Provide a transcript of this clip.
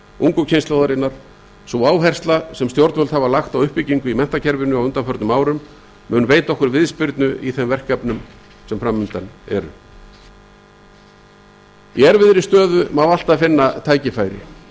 ungu kynslóðarinnar sú áhersla sem stjórnvöld hafa lagt á uppbyggingu í menntakerfinu á undanförnum árum mun veita okkur viðspyrnu í þeim verkefnum sem fram undan eru í erfiðri stöðu má alltaf finna tækifæri